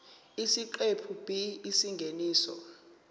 isiqephu b isingeniso